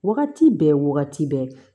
Wagati bɛɛ wagati bɛɛ